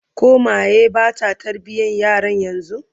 koh Meye Bata tarbiyan yaran yanzun?